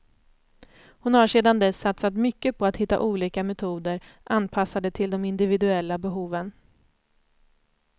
Hon har sedan dess satsat mycket på att hitta olika metoder, anpassade till de individuella behoven.